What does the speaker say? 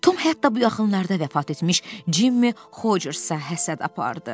Tom hətta bu yaxınlarda vəfat etmiş Cimm Hoçersə həsəd apardı.